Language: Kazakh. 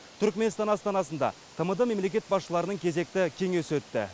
түрікменстан астанасында тмд мемлекет басшылары кезекті кеңесі өтті